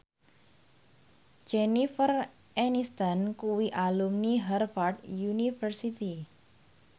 Jennifer Aniston kuwi alumni Harvard university